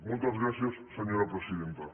moltes gràcies senyora presidenta